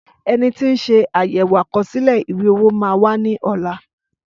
Ẹni tí ń sé àyèwò àkọsílẹ̀ ìwé-owó màa wá ní ọ̀la